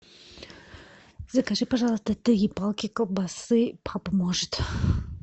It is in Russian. закажи пожалуйста три палки колбасы папа может